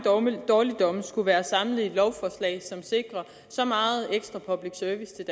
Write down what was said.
dårligdomme skulle være samlet i et lovforslag som sikrer så meget ekstra public service til